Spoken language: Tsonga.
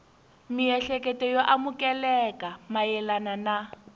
miehleketo yo amukeleka mayelana na